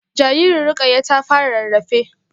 Jaririn Rukayyah ta fara rarrafe